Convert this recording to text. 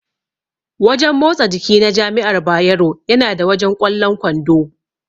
Wajen motsa jiki na jami'ar Bayero yana da wajen ƙwallon kwando.